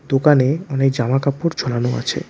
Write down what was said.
দোকানে অনেক জামাকাপড় ঝোলানো আছে।